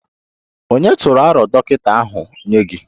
Ònye tụrụ aro dọkịta ahụ nye gị?